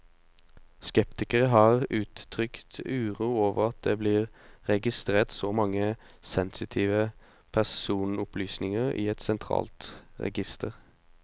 Skeptikere har uttrykt uro over at det blir registrert så mange sensitive personopplysninger i et sentralt register.